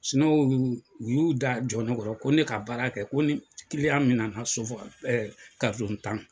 u y'u da jɔ ne kɔrɔ ko ne ka baara kɛ ko ni min na sofagala tan.